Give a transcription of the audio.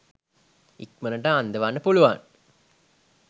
ඉක්මනට අන්දවන්න පුළුවන්.